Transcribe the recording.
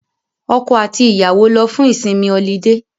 Ọkọ àti ìyàwó lọ fún ìsinmi ọlidé